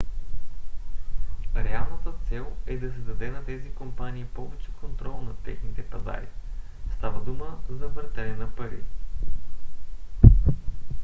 реалната цел е да се даде на тези компании повече контрол над техните пазари; става дума за въртене на пари